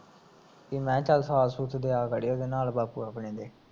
ਵੀ ਮੈਂ ਚਲ ਸਾਥ ਸੂਥ ਬਾਪੂ ਆਪਣੇ ਦੇ